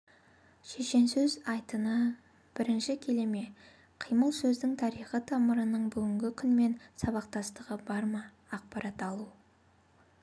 шешенсөз айтыны бірінші келе ме қимылсөздің тарихи тамырының бүгінгі күнмен сабақтастығы бар ма ақпарат алу